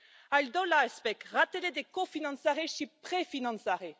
Al doilea aspect ratele de cofinanțare și prefinanțare.